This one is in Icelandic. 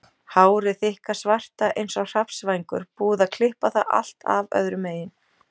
Hárið þykka svarta eins og hrafnsvængur, búið að klippa það allt af öðru megin.